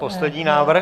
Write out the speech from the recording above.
Poslední návrh?